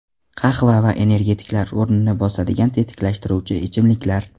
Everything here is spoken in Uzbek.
Qahva va energetiklar o‘rnini bosadigan tetiklashtiruvchi ichimliklar.